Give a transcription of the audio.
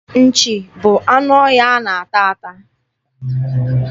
Nchi bụ anụ ọhịa a na-ata ata.